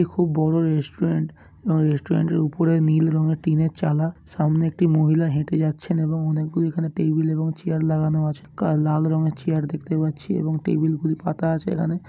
খুব বড় রেস্টুরেন্ট এবং রেস্টুরেন্ট -এর উপরে নীল রঙের টিনের চালা সামনে একটি মহিলা হেঁটে যাচ্ছেন এবং অনেকগুলি এখানে টেবিল এবং চেয়ার লাগানো আছে কাল লাল রংয়ের চেয়ার দেখতে পাচ্ছি এবং টেবিল -গুলি পাতা আছে এখানে ।